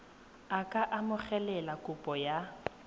a ka amogela kopo ya